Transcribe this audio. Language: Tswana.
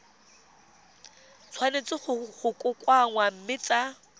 tshwanetse go kokoanngwa mme tsa